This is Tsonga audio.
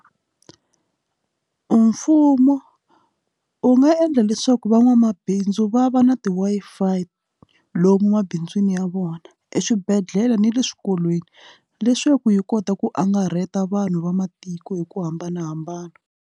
Mfumo wu nga endla leswaku van'wamabindzu va va na ti Wi-Fi lomu emabindzwini ya vona eswibedhlele na le swikolweni leswaku yi kota ku angarheta vanhu va matiko hi ku hambanahambana.